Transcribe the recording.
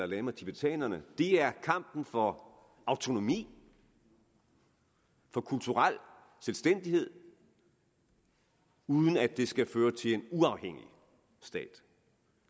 lama tibetanerne er kampen for autonomi for kulturel selvstændighed uden at det skal føre til en uafhængig stat